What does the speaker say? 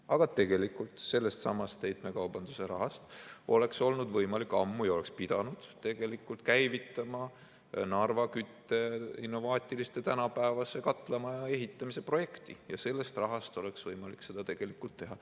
Aga tegelikult sellestsamast heitmekaubanduse rahast oleks olnud võimalik ammu käivitada ja oleks pidanud käivitama Narva kütteks innovaatilise tänapäevase katlamaja ehitamise projekti ja sellest rahast oleks olnud võimalik seda teha.